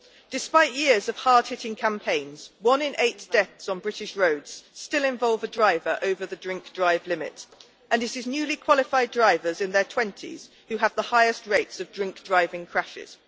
Despite years of hard hitting campaigns, one in eight deaths on British roads still involves a driver over the drink-drive limit, and it is newly qualified drivers in their 20s who have the highest rates of drink-driving crashes.